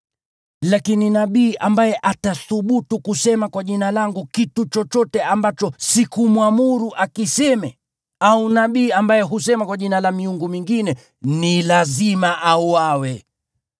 Lakini nabii ambaye atathubutu kusema kwa Jina langu kitu chochote ambacho sikumwamuru akiseme, au nabii ambaye husema kwa jina la miungu mingine ni lazima auawe.”